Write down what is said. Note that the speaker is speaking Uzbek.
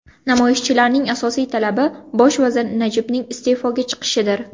Namoyishchilarning asosiy talabi bosh vazir Najibning iste’foga chiqishidir.